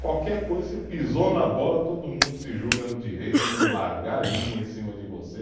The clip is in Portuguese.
Qualquer coisa, você pisou na bola, todo mundo se julga no direito de largar a língua em cima de você.